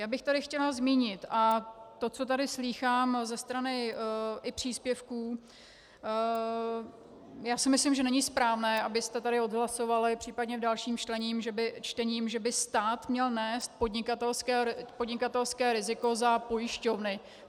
Já bych tady chtěla zmínit, a to, co tady slýchám ze strany i příspěvků, já si myslím, že není správné, abyste tady odhlasovali případně v dalším čtení, že by stát měl nést podnikatelské riziko za pojišťovny.